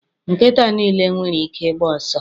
Nkịta niile nwere ike ịgba ọsọ